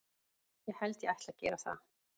Ég held ég ætli að gera það.